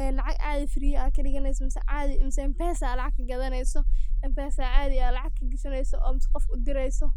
ee lacag caadi [csfree ad kadhiganeyso mise caadi mise mpesa ad lacag ka gadaneyso mpesa aa caadi lacag kagashaneyso oo mise qof udireyso,